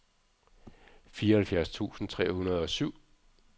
fireoghalvfjerds tusind tre hundrede og syv